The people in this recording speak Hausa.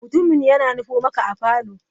Mutumin yana nufo maka a parlour.